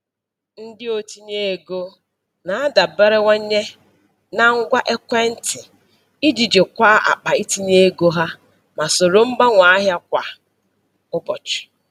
Ndị otinye ego na-adaberewanye na ngwa ekwentị iji jikwaa akpa itinye ego ha ma soro mgbanwe ahịa kwa ụbọchị.